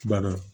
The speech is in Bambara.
Banna